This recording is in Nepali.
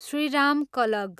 श्रीराम कलग